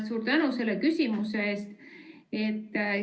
Suur tänu selle küsimuse eest!